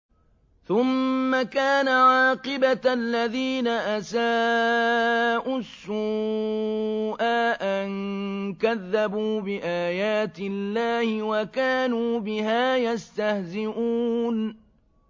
ثُمَّ كَانَ عَاقِبَةَ الَّذِينَ أَسَاءُوا السُّوأَىٰ أَن كَذَّبُوا بِآيَاتِ اللَّهِ وَكَانُوا بِهَا يَسْتَهْزِئُونَ